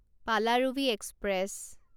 Palaruvi express